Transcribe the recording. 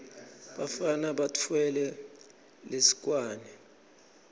bafana batfwele lisekwane